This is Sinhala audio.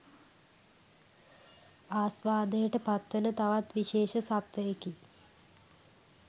ආස්වාදයට පත්වන තවත් විශේෂ සත්වයෙකි